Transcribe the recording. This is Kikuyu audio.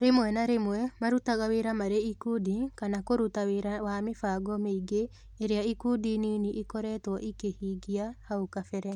Rĩmwe na rĩmwe marutaga wĩra marĩ ikundi kana kũruta wĩra wa mĩbango mĩingĩ ĩrĩa ikundi nini ikoretwo ikĩhingia hau kabere